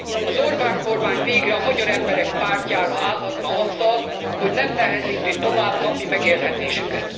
Az Orbán kormány végre a magyar emberek pártjára állhatna azzal, hogy nem nehezíti tovább napi megélhetésüket.